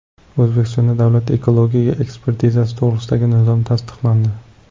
O‘zbekistonda Davlat ekologik ekspertizasi to‘g‘risidagi nizom tasdiqlandi.